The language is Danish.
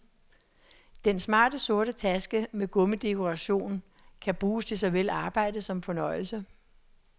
Den smarte sorte taske med gummidekoration kan bruges til såvel arbejde som fornøjelse.